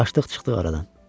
Qaçdıq çıxdıq aradan.